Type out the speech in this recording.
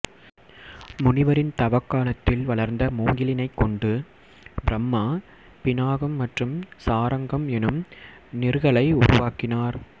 முனிவரின் தவக் காலத்தில் வளர்ந்த மூங்கிலினைக் கொண்டு பிரம்மா பிநாகம் மற்றும் சாரங்கம் எனும் நிற்களை உருவாக்கினார்